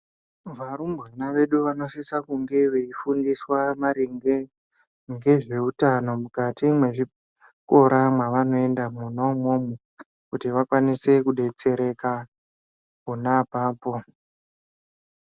Varumbwana vedu vanosisa kunge veifundiswa maringe ngezveutano mukati mwezvikora mwananoenda mwona imwomwo. Kuti vakwanise kubetsereka pona apapo.